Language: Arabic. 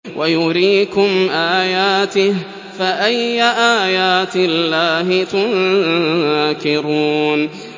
وَيُرِيكُمْ آيَاتِهِ فَأَيَّ آيَاتِ اللَّهِ تُنكِرُونَ